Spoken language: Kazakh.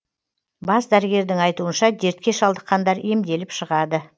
бас дәрігердің айтуынша дертке шалдыққандар емделіп шығады